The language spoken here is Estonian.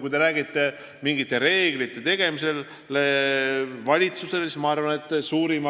Kui te räägite mingite reeglite tegemisest valitsusele, siis ma arvan, et suurim